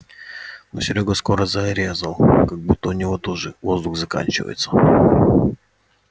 но серёга скоро зарезал как будто у него тоже воздух заканчивается